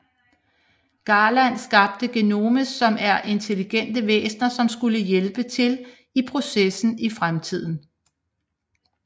Garland skabte Genomes som er intelligente væsener som skulle hjælpe til i processen i fremtiden